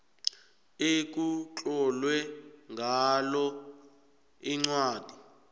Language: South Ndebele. ekutlolwe ngalo incwadi